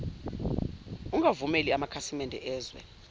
ungavumeli amakhasimede ezwe